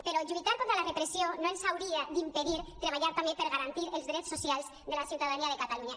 però lluitar contra la repressió no ens hauria d’impedir treballar també per garantir els drets socials de la ciutadania de catalunya